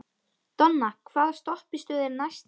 Donna, hvaða stoppistöð er næst mér?